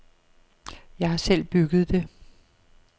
Jeg har selv bygget det.